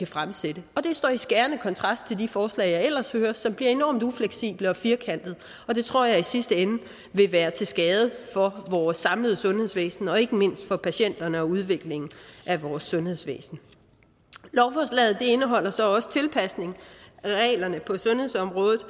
fremsætte det står i skærende kontrast til de forslag jeg ellers hører som bliver enormt ufleksible og firkantede det tror jeg i sidste ende vil være til skade for vores samlede sundhedsvæsen og ikke mindst for patienterne og udviklingen af vores sundhedsvæsen lovforslaget indeholder så også tilpasning af reglerne på sundhedsområdet